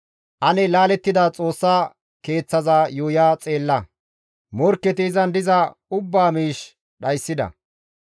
Ane laalettida Xoossa Keeththaza yuuya xeella; Morkketi izan diza ubbaa miish dhayssida.